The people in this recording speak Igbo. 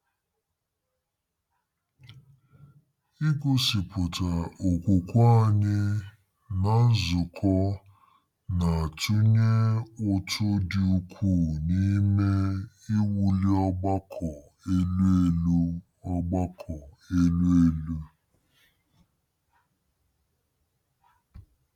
Igosipụta okwukwe anyị ná nzukọ na-atụnye ụtụ dị ukwuu n’ime “iwuli ọgbakọ elu” elu. ọgbakọ elu” elu.